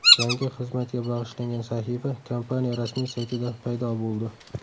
Yangi xizmatga bag‘ishlangan sahifa kompaniya rasmiy saytida paydo bo‘ldi.